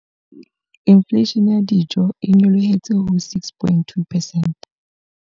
Infleishene ya dijo e nyolohetse ho 6.2 percent.